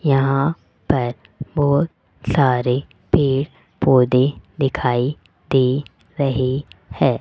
यहां पर बहोत सारे पेड़ पौधे दिखाई दे रहे है।